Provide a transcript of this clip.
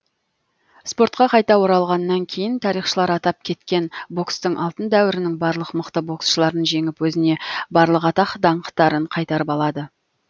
спортқа қайта оралғаннан кейін тарихшылар атап кеткен бокстың алтын дәуірінің барлық мықты боксшыларын жеңіп өзіне барлық атақ даңқтарын қайтарып алады